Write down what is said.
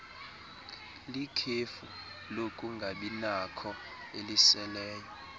likhefu lokungabinakho eliseleyo